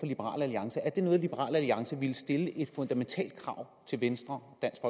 liberal alliance er det noget liberal alliance ville stille et fundamentalt krav til venstre dansk